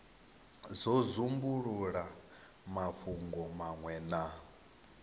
do dzumbulula mafhungo manwe na